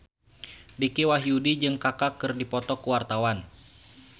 Dicky Wahyudi jeung Kaka keur dipoto ku wartawan